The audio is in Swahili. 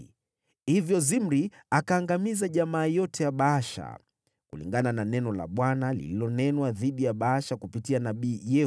Hivyo Zimri akaangamiza jamaa yote ya Baasha, kulingana na neno la Bwana lililonenwa dhidi ya Baasha kupitia nabii Yehu: